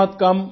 बहुत कम